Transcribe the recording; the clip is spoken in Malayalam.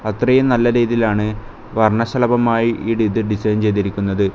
അത്രയും നല്ല രീതിയിലാണ് വർണശലഭമായി ഇഡെ ഇത് ഡിസൈൻ ചെയ്തിരിക്കുന്നത്.